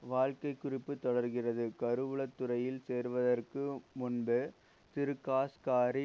வாழ்க்கை குறிப்பு தொடர்கிறது கருவூல துறையில் சேர்வதற்கு முன்பு திருகாஷ் காரி